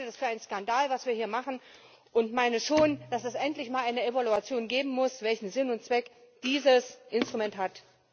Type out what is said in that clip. Ich halte das für einen Skandal, was wir hier machen, und meine schon, dass es endlich mal eine Evaluation geben muss, welchen Sinn und Zweck dieses Instrument hat.